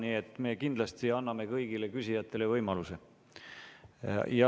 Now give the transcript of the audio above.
Nii et me kindlasti anname kõigile küsijatele võimaluse.